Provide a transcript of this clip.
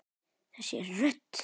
Þessi rödd!